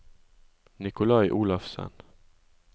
Nicolai Olafsen